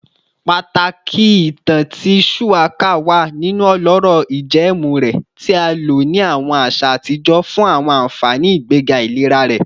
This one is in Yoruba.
Pataki itan ti shuwaka wa ninu ọlọrọ ijẹẹmu rẹ, ti a lo ni awọn aṣa atijọ fun awọn anfani igbega ilera rẹ